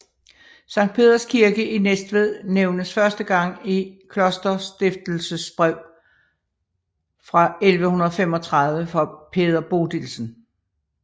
Sankt Peders Kirke i Næstved nævnes første gang i et klosterstiftelsesbrev fra 1135 fra Peder Bodilsen